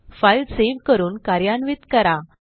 file save करून कार्यान्वित करा